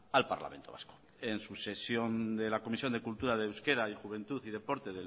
al parlamento vasco en su sesión de la comisión de cultura de euskera y juventud y deporte